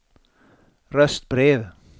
röstbrev